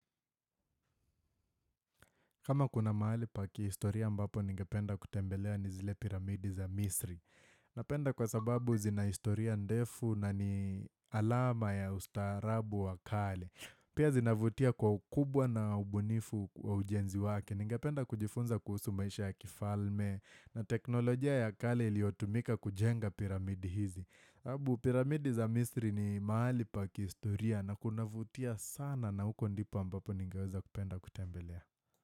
Kama kuna mahali pa kiistoria ambapo ningependa kutembelea ni zile piramidi za misri. Napenda kwa sababu zina istoria ndefu na ni alama ya ustaharabu wa kale. Pia zinavutia kwa ukubwa na ubunifu wa ujenzi wake. Ningependa kujifunza kuhusu maisha ya kifalme na teknolojia ya kale iliotumika kujenga piramidi hizi. Habu piramidi za misri ni mahali pa kiistoria na kunavutia sana na huko ndipo ambapo ningeweza kupenda kutembelea.